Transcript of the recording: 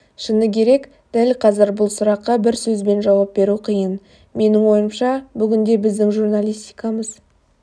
шыны керек дәл қазір бұл сұраққа бір сөзбен жауап беру қиын менің ойымша бүгінде біздің журналистикамыз